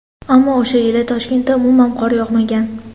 Ammo o‘sha yili Toshkentda umuman qor yog‘magan.